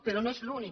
però no és l’únic